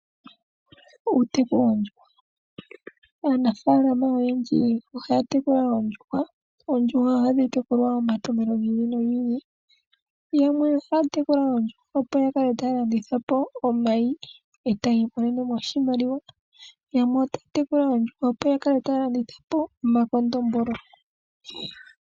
Uuteku woondjuhwa, aanafalama oyendji ohaya tekula oondjuhwa. Oondjuhwa ohadhi tekulilwa omatompelo gi ili nogi ili yamwe ohaya tekula oondjuhwa opo ya kale taya landitha po omayi etayii monene oshimaliwa, yamwe otaya tekula oondjuhwa etaya landitha po omakondombolo.